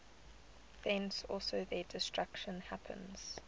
thence also their destruction happens